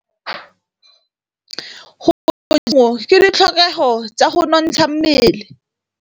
Go ja maungo ke ditlhokegô tsa go nontsha mmele.